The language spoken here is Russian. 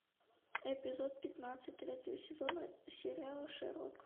эпизод пятнадцать третьего сезона сериала шерлок